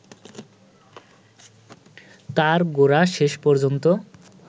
তাঁর গোরা শেষ পর্যন্ত